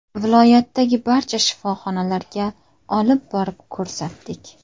Viloyatdagi barcha shifoxonalarga olib borib ko‘rsatdik.